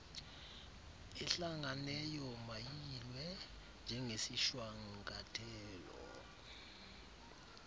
ehlanganeyo mayiyilwe njengesishwankathelo